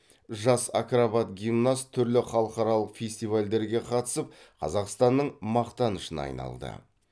жас акробат гимнаст түрлі халықаралық фестивальдерге қатысып қазақстанның мақтанышына айналды